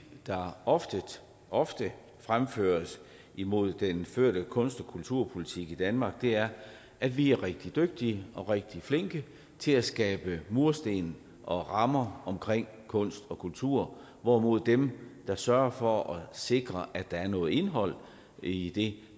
der ofte ofte fremføres imod den førte kunst og kulturpolitik i danmark er at vi er rigtig dygtige og rigtig flinke til at skabe mursten og rammer omkring kunst og kultur hvorimod dem der sørger for at sikre at der er noget indhold i i